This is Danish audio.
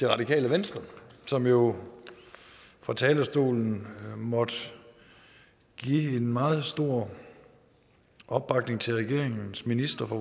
radikale venstre som jo fra talerstolen måtte give en meget stor opbakning til regeringens ministre for